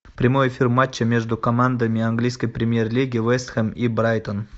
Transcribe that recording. прямой эфир матча между командами английской премьер лиги вест хэм и брайтон